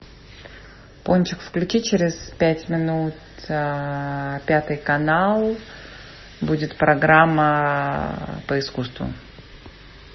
пончик включи через пять минут пятый канал будет программа по искусству